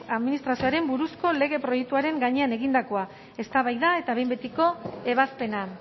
administrazioaren buruzko lege proiektuaren gainean egindakoa eztabaida eta behin betiko ebazpena